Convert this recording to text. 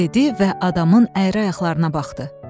dedi və adamın əyri ayaqlarına baxdı.